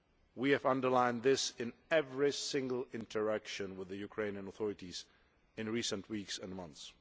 We have underlined this in every single interaction with the Ukrainian authorities in recent weeks and months.